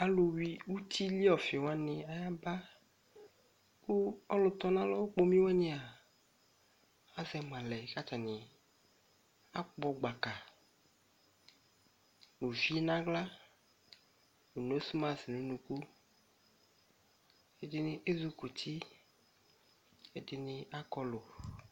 Alʋ yui uti li ɔfɩ wanɩ ayaba, kʋ ɔlʋ tɔ nʋ alɔ okpomi wanɩ a, asɛ ma lɛ, kʋ atanɩ akpɔ gbaka nʋ uvi nʋ aɣla, nʋ nosmas nʋ unuku, ɛdɩnɩ ezukuti, ɛdɩnɩ akɔlʋ